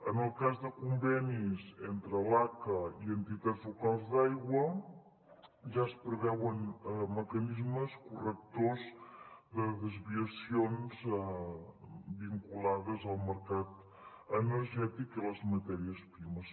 en el cas de convenis entre l’aca i entitats locals d’aigua ja es preveuen mecanismes correctors de desviacions vinculades al mercat energètic i a les matèries primeres